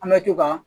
An bɛ to ka